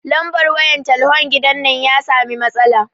Lambar wayan talhon gidan nan ya sami matsala